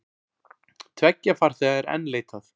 Tveggja farþega er enn leitað.